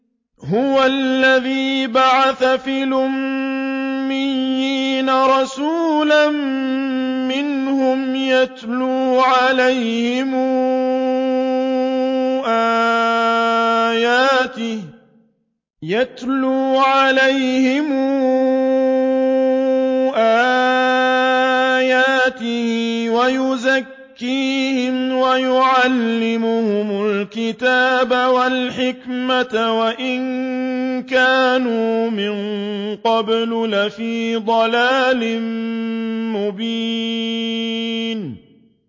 هُوَ الَّذِي بَعَثَ فِي الْأُمِّيِّينَ رَسُولًا مِّنْهُمْ يَتْلُو عَلَيْهِمْ آيَاتِهِ وَيُزَكِّيهِمْ وَيُعَلِّمُهُمُ الْكِتَابَ وَالْحِكْمَةَ وَإِن كَانُوا مِن قَبْلُ لَفِي ضَلَالٍ مُّبِينٍ